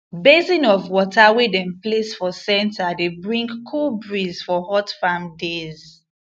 basin of water wey dem place for center dey bring cool breeze for hot farm days